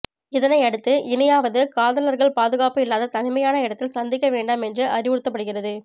இதனை அடுத்து இனியாவது காதலர்கள் பாதுகாப்பு இல்லாத தனிமையான இடத்தில் சந்திக்க வேண்டாம் என்று அறிவுறுத்தப்படுகிறது